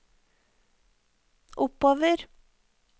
oppover